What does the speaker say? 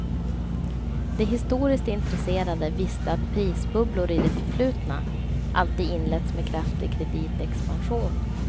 De historiskt intresserade visste att prisbubblor i det förflutna alltid inletts med kraftig kreditexpansion.